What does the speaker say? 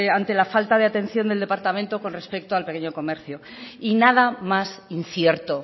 ante la falta de atención del departamento con respecto al pequeño comercio y nada más incierto